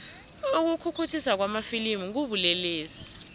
ukukhukhuthiswa kwamafilimu kubulelesi